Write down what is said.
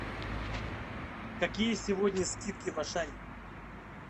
какие сегодня скидки в ашане